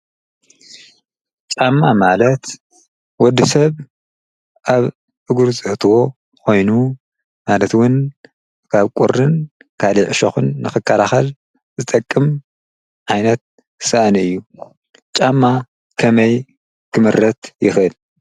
ጫማ ማለት ወዲ ሰብ ኣብ እግሩ ዘእትዎ ኾይኑ ማለትውን ኻብ ቁርን ካብ ዕሾኹን ንክከላኻል ዝጠቅም ዓይነት ሳእኒ እዩ ጫማ ከመይ ክምረት ይኽእል?